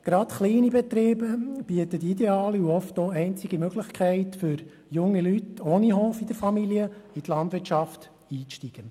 Gerade Kleinbetriebe bieten die ideale und oft auch einzige Möglichkeit für junge Leute ohne Hof in der Familie, in die Landwirtschaft einzusteigen.